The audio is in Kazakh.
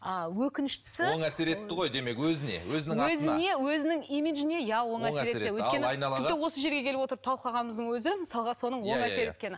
ааа өкініштісі оң әсер етті ғой демек өзіне өзінің атына өзіне өзінің имиджіне иә оң әсер етті тіпті осы жерге келіп отырып талқылағанымыздың өзі мысалға соның оң әсер еткені